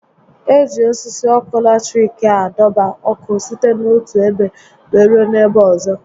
E ji osisi ọkụ latiriki a dọba ọkụ site n'otu ebe wéé rue n'ebe ọzọ